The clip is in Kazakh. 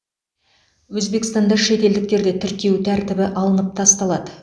өзбекстанда шетелдіктерді тіркеу тәртібі алынып тасталады